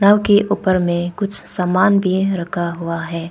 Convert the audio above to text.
नाव के ऊपर में कुछ सामान भी रखा हुआ है।